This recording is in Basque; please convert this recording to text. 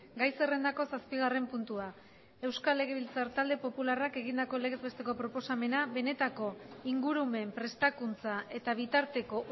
gai zerrendako zazpigarren puntua euskal legebiltzar talde popularrak egindako legez besteko proposamena benetako ingurumen prestakuntza eta bitarteko